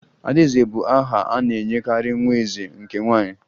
Adaeze bụ aha a na-enyekarị nwa eze nke nwaanyị